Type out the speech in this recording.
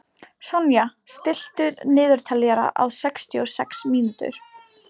Sonja, stilltu niðurteljara á sextíu og sex mínútur.